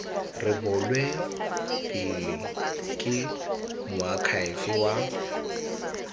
rebolwe pele ke moakhaefe wa